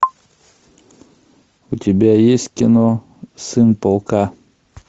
у тебя есть кино сын полка